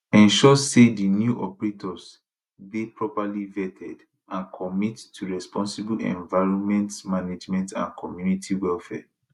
ensure say di new operators dey properly vetted and commit to responsible environment management and community welfare